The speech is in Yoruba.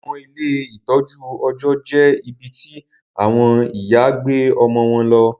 Awọn ile itọju ọjọ jẹ ibití awọn ìyá gbé ọmọ wón ló